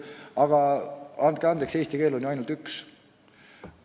Aga andke andeks, eesti keel on siiski ainult üks.